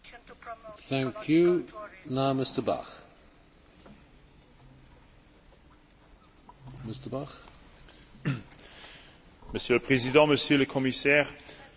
Monsieur le Président, Monsieur le Commissaire, j'aimerais féliciter particulièrement notre collègue, Carlo Fidanza, pour ce rapport très réussi sur un nouveau cadre politique pour le tourisme européen.